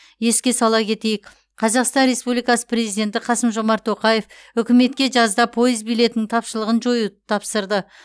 еске сала кетейік қазақстан республикасы президенті қасым жомарт тоқаев үкіметке жазда пойыз билетінің тапшылығын жоюды тапсырды